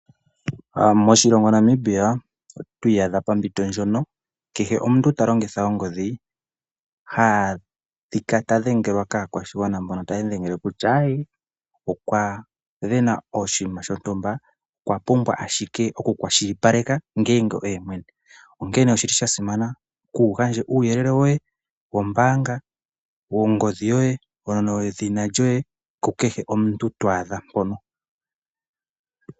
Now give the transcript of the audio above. Moshilongo Namibia otwiyadha popinto ndjono kehe omuntu talongitha ongodhi hadhika tadhengelwa ka kwashingwana mbono tayelombwe kutya okwavena oshima shontumba okwa pumbwa oku kwashilipaleka ngenge oye mwene onkene oshili sha simana kugandje uyelele woye wombanga , wongodhi yoye , edhina lyoye kukehe omuntu thwadha pono.